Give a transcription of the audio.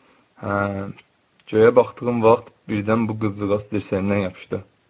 Göyə baxdığım vaxt birdən bu qızcığaz dirsəyimə yapışdı.